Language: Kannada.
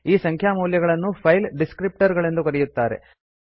ಈ ಸಂಖ್ಯಾ ಮೌಲ್ಯಗಳನ್ನು ಫೈಲ್ ಡಿಸ್ಕ್ರಿಪ್ಟರ್ ಗಳು ಎಂದು ಕರೆಯಲಾಗುತ್ತದೆ